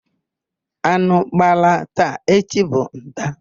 Anụ gbalaa taa, echi bụ nta.